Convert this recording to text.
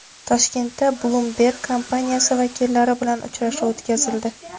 Toshkentda Bloomberg kompaniyasi vakillari bilan uchrashuv o‘tkazildi.